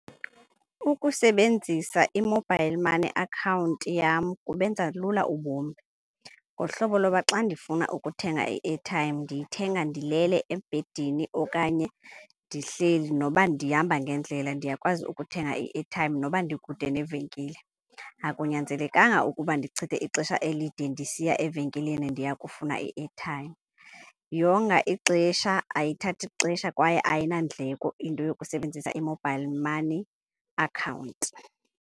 Ukusebenzisa i-mobile money account yam kubenza lula ubomi ngohlobo loba xa ndifuna ukuthenga i-airtime ndiyithenga ndilele ebhedini okanye ndihleli. Noba ndihamba ngendlela ndiyakwazi ukuthenga i-airtime noba ndikude nevenkile. Akunyanzelekanga ukuba ndichithe ixesha elide ndisiya evenkileni ndiya kufuna i-airtime. Yonga ixesha, ayithathi ixesha kwaye ayinandleko into yokusebenzisa i-mobile money account.